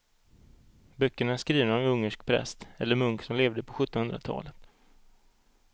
Böckerna är skrivna av en ungersk präst eller munk som levde på sjuttonhundratalet.